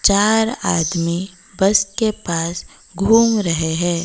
चार आदमी बस के पास घूम रहे हैं।